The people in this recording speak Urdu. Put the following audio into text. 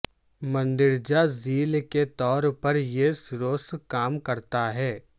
مندرجہ ذیل کے طور پر یہ سروس کام کرتا ہے